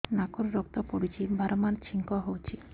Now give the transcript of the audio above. ନାକରୁ ରକ୍ତ ପଡୁଛି ବାରମ୍ବାର ଛିଙ୍କ ହଉଚି